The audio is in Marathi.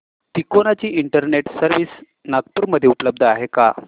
तिकोना ची इंटरनेट सर्व्हिस नागपूर मध्ये उपलब्ध आहे का